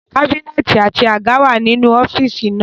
Kábínẹ̀tì àti àga wà nínú ọ́fíìsì náà